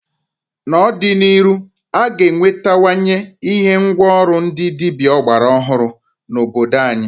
N'ọdị n'iru a ga enwetawanye ihe ngwa ọrụ ndị dịbịa ọgbara ọhụrụ n'obodo anyị.